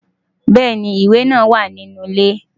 Bẹ́ẹ̀ni, ìwẹ̀ náà wà ní inú ilé.